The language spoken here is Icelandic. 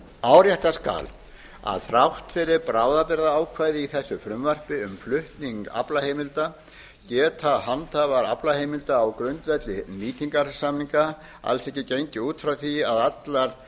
árétta skal að þrátt fyrir bráðabirgðaákvæði í þessu frumvarpi um flutning aflaheimilda er það handhafa aflaheimilda á grundvelli nýtingarsamninga að gengið sé út frá því að